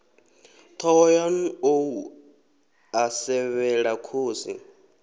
thohoyanḓ ou a sevhela khosi